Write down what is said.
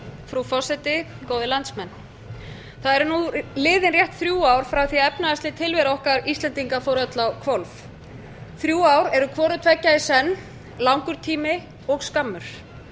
frú forseti góðir landsmenn það eru nú liðin rétt þrjú ár frá því að efnahagsleg tilvera okkar íslendinga fór öll á hvolf þrjár eru hvoru tveggja í senn langur tími og skammur þau